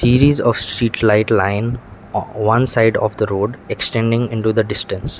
series of street light line on one side of the road extending into the distance.